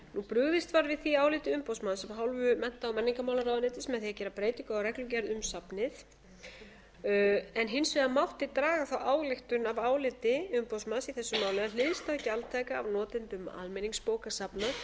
brugðist var við því áliti umboðsmanns af hálfu mennta og menningarmálaráðuneytis með því að gera breytingu á reglugerð um safnið en hins vegar mátti draga frá ályktun af áliti umboðsmanns í þessu máli að hliðstæð gjaldtaka af notendum almenningsbókasafna